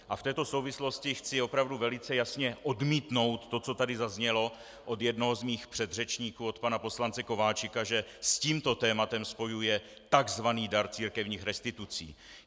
A v této souvislosti chci opravdu velice jasně odmítnout to, co tady zaznělo od jednoho z mých předřečníků, od pana poslance Kováčika, že s tímto tématem spojuje tzv. dar církevních restitucí.